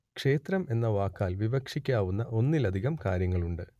ക്ഷേത്രം എന്ന വാക്കാൽ വിവക്ഷിക്കാവുന്ന ഒന്നിലധികം കാര്യങ്ങളുണ്ട്